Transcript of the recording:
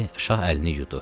Şah əlini yudu.